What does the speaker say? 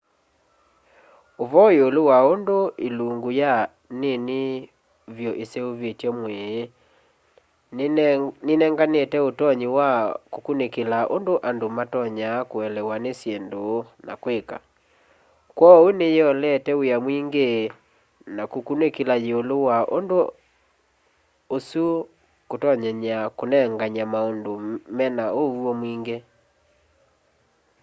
ũvoo yĩũlũ wa ũndũ ĩlũngĩ ya nĩnĩ vyũ ĩseũvĩtye mwĩĩ nĩnengatĩte ũtonyĩ wa kũkũnĩkĩla ũndũ andũ matonyaa kũelewa nĩ syĩndũ na kwĩka kwooũ nĩ nĩyĩolete wĩa mwĩngĩ wa kũkũnĩkĩla yĩũlũ wa ũndũ ũsũ na kũtonyenya kũnenganya maũndũ me na ũw'o mwĩngĩ